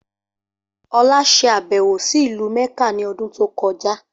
Olá ṣe àbẹ̀wò sí ìlú Mẹ́kà ni ọdún tó kọjá.